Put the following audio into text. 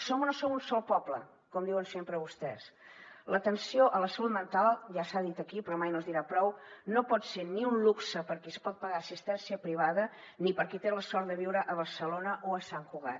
som o no som un sol poble com diuen sempre vostès l’atenció a la salut mental ja s’ha dit aquí però mai no es dirà prou no pot ser ni un luxe per qui es pot pagar assistència privada ni per qui té la sort de viure a barcelona o a sant cugat